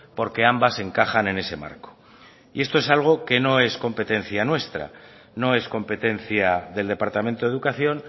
porque ambas encajan en ese marco y esto es algo que no es competencia nuestra no es competencia del departamento de educación